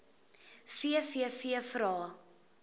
vvvvrae